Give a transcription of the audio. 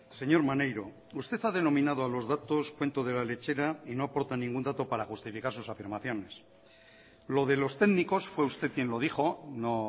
señor maneiro usted ha denominado a los datos cuento de la lechera y no aporta ningún dato para justificar sus afirmaciones lo de los técnicos fue usted quien lo dijo no